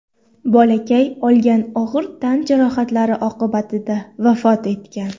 Bolakay olgan og‘ir tan jarohatlari oqibatida vafot etgan .